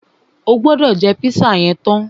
O gbọ́dọ̀ jẹ́ pízà yẹn tán!